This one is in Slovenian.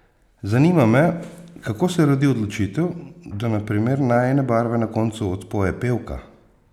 Zanima me, kako se rodi odločitev, da na primer Najine barve na koncu odpoje pevka?